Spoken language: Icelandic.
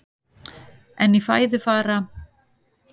En í fæði fara